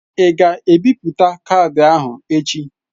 Ị ga-ebipụta kaadị ahụ echi.?